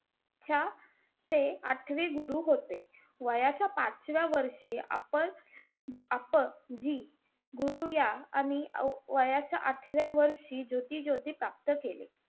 ह्याचे आठवे गुरु होते. वयाच्या पाचव्या वर्षी अपक~ अपक जी गुरूया आणि वयाच्या आठव्या वर्षी ज्योती-ज्योती प्राप्त केले.